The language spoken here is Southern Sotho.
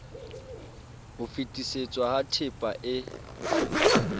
ho fetisetswa ha tehpa e